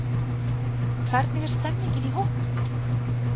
Hvernig er stemmningin í hópnum?